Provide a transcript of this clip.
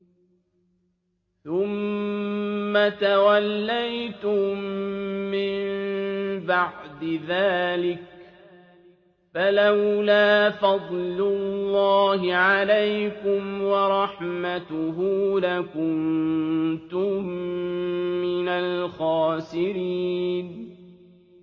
ثُمَّ تَوَلَّيْتُم مِّن بَعْدِ ذَٰلِكَ ۖ فَلَوْلَا فَضْلُ اللَّهِ عَلَيْكُمْ وَرَحْمَتُهُ لَكُنتُم مِّنَ الْخَاسِرِينَ